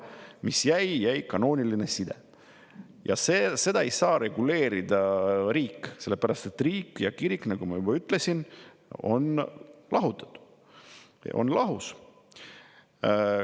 See mis jäi, on kanooniline side, ja seda ei saa reguleerida riik, sest riik ja kirik, nagu ma juba ütlesin, on lahutatud, nad on lahus.